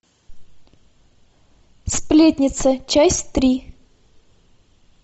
сплетница часть три